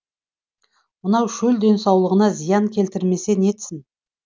мынау шөл денсаулығына зиян келтірмесе нетсін